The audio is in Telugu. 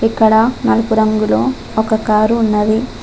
ఇక్కడ నలుపు రంగులో ఒక కారు ఉన్నది.